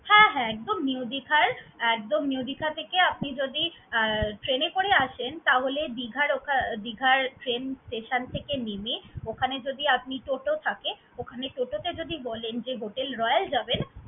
হ্যাঁ হ্যাঁ একদম new দিঘার, একদম new দিঘা থেকে আপনি যদি আহ train এ করে আসেন তাহলে দিঘার ওকা দিঘার train station থেকে নেমে ওখানে যদি আপনি toto থাকে, ওখানে toto কে যদি বলেন যে Hotel Royal যাবেন